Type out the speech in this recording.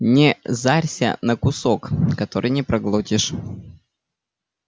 не зарься на кусок который не проглотишь